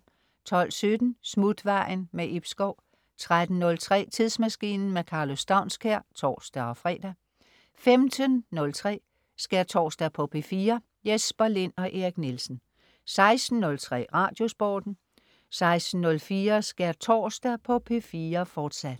12.17 Smutvejen. Ib Schou 13.03 Tidsmaskinen. Karlo Staunskær (tors-fre) 15.03 Skærtorsdag på P4. Jesper Lind og Erik Nielsen 16.03 Radiosporten 16.04 Skærtorsdag på P4. fortsat